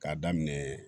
K'a daminɛ